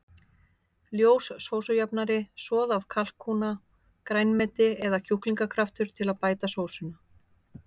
Ljós sósujafnari, soð af kalkúna, grænmeti eða kjúklingakraftur til að bæta sósuna.